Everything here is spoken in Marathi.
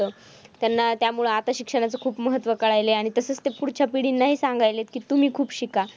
त्यांना त्यामुळे आता शिक्षणाचं खूप महत्त्व कळालंय. आणि तसच ते पुढच्या पिढींंनाही सांगायलेत की तुम्ही खूप शिका.